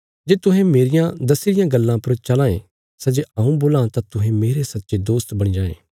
जे तुहें मेरिया दस्सी रिया गल्ला पर चलां ये सै जे हऊँ बोलां तां तुहें मेरे सच्चे दोस्त बणी जांये